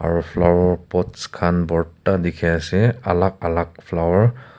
aro flower pots khan borta dikhi ase alak alak flower .